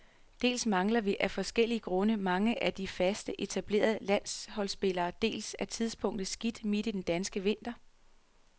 Dels mangler vi, af forskellige grunde, mange af de faste, etablerede landsholdsspillere, dels er tidspunktet skidt midt i den danske vinter.